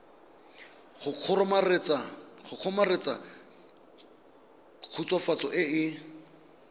go kgomaretsa khutswafatso e e